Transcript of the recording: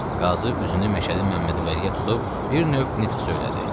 Qazı üzünü Məşədi Məmmədvəliyə tutub bir növ nitq söylədi.